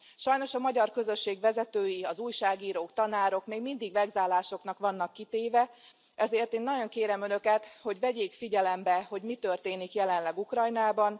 Sajnos a magyar közösség vezetői, az újságírók, tanárok még mindig vegzálásoknak vannak kitéve, ezért én nagyon kérem Önöket, hogy vegyék figyelembe, hogy mi történik jelenleg Ukrajnában.